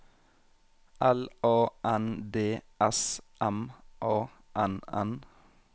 L A N D S M A N N